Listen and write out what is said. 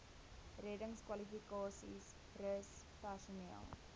reddingskwalifikasies rus personeel